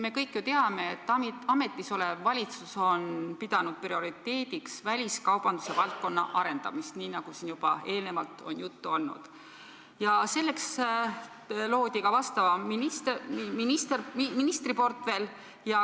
Me kõik ju teame, et ametis olev valitsus on pidanud prioriteediks väliskaubanduse valdkonna arendamist, nii nagu siin eelnevalt on juba juttu olnud, ja selleks loodi ka vastav ministriportfell.